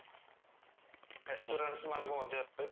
ମାନଙ୍କ ମଧ୍ୟରେ